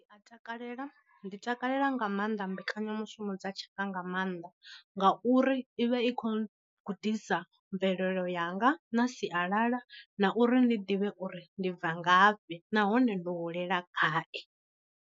A takalela, ndi takalela nga maanḓa mbekanya mushumo dza tshaka nga maanḓa nga uri ivha i kho gudisa mvelelo yanga na sialala na uri ndi ḓivhe uri ndi bva ngafhi nahone ndo hulela gayi.